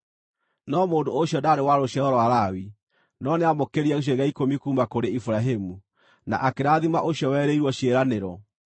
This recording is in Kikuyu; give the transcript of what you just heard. No mũndũ ũcio ndaarĩ wa rũciaro rwa Lawi, no nĩamũkĩrire gĩcunjĩ gĩa ikũmi kuuma kũrĩ Iburahĩmu, na akĩrathima ũcio werĩirwo ciĩranĩro.